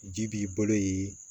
Ji b'i balo ye